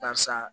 Karisa